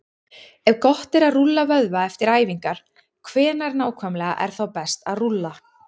Ef gott er að rúlla vöðva eftir æfingar, hvenær nákvæmlega er þá best að rúlla?